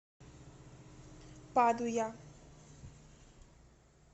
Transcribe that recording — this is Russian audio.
падуя